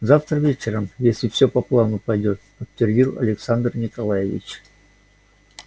завтра вечером если всё по плану пойдёт подтвердил александр николаевич